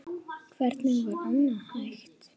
Hvernig var annað hægt?